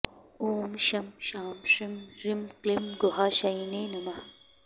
ॐ शं शां षं ह्रीं क्लीं गुहाशायिने नमः